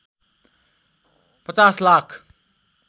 ५० lakh